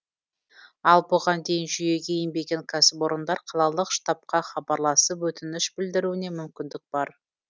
ал бұған дейін жүйеге енбеген кәсіпорындар қалалық штабқа хабарласып өтініш білдіруіне мүмкіндік бар